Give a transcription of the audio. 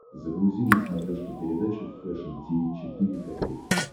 загрузи на смотрешке передачу фэшн ти ви четыре ка